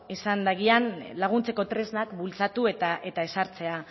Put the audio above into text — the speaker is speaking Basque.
izan dagian laguntzeko tresnak bultzatu eta ezartzea